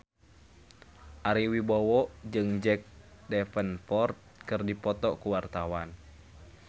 Ari Wibowo jeung Jack Davenport keur dipoto ku wartawan